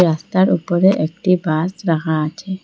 রাস্তার উপরে একটি বাস রাখা আছে।